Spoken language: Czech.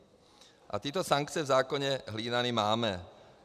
A tyto sankce v zákoně hlídané máme.